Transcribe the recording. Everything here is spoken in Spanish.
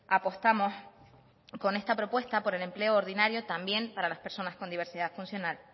apostamos con esta propuesta por el empleo ordinario también para las personas con diversidad funcional